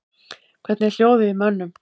Hvernig er hljóðið í mönnum?